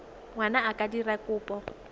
ngwana a ka dira kopo